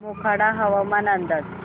मोखाडा हवामान अंदाज